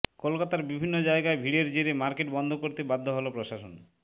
কলকাতার বিভিন্ন জায়গায় ভিড়ের জেরে মার্কেট বন্ধ করতে বাধ্য হল প্রশাসন